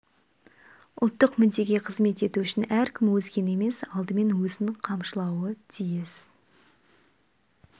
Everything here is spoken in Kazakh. ұлттық мүддеге қызмет ету үшін әркім өзгені емес алдымен өзін қамшылауы тиіс